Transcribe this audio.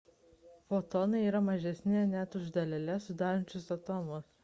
fotonai yra mažesni net už daleles sudarančias atomus